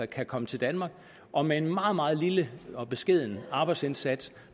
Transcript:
kan komme til danmark og med en meget meget lille og beskeden arbejdsindsats